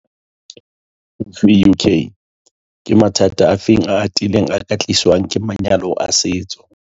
Vuk - Ke mathata afe a atileng a ka tliswang ke manyalo a setso?